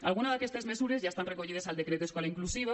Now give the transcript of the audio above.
alguna d’aquestes mesures ja estan recollides al decret d’escola inclusiva